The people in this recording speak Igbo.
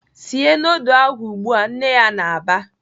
"Sie nudul ahụ ugbu a!" Nne ya na-aba.